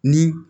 Ni